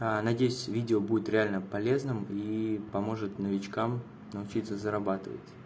надеюсь видео будет реально полезным и поможет новичкам научиться зарабатывать